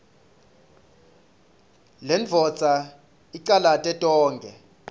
lendvodza icalate tonkhe